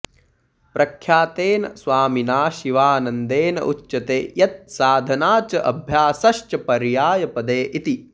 प्रख्यातेन स्वामिना शिवानन्देन उच्यते यत् साधना च अभ्यासश्च पर्यायपदे इति